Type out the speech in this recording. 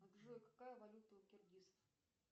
джой какая валюта у киргизов